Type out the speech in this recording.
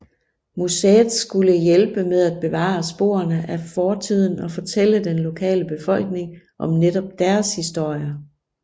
Museet skulle hjælpe med at bevare sporene af fortiden og fortælle den lokale befolkning om netop deres historie